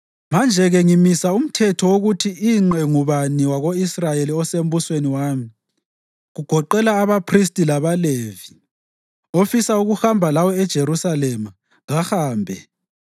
Manje-ke ngimisa umthetho wokuthi ingqe ngubani wako-Israyeli osembusweni wami, kugoqela abaphristi labaLevi, ofisa ukuhamba lawe eJerusalema, kahambe.